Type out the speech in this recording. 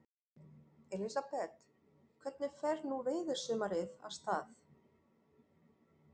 Elísabet, hvernig fer nú veiðisumarið af stað?